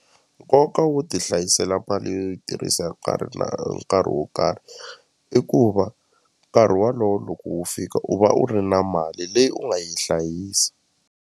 Nkoka wo ti hlayisela mali yo yi tirhisa hi nkarhi na nkarhi wo karhi i ku va nkarhi walowo loko wo fika u va u ri na mali leyi u nga yi hlayisa.